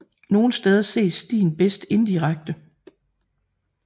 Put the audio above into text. Nogle steder ses stien bedst indirekte